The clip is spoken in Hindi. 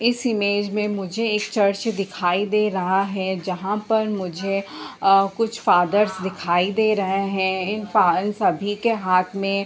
इस इमेज में मुझे एक चर्च दिखाई दे रहा हैं जहाँ पर मुझे कुछ फादर्स दिखाई दे रहें हैं इन फा इन सभी के हाथ में --